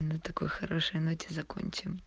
на такой хорошей ноте закончим